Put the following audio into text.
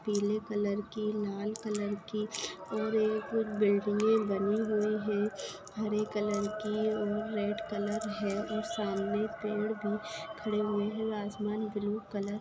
पिले कलर कि लाल कलर कि और ये बिल्डींगे बनी हुई है हरे कलर कि रेड कलर है और सामने पेड भी खडे हुए है असमान ग्रीन कलर --